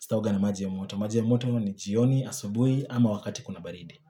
Sitaoga na maji ya moto. Maji ya moto ni jioni asubuhi ama wakati kuna baridi.